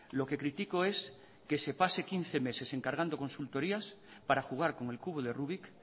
lo que critico es que se pase quince meses encargando consultorías para jugar como el cubo de rubick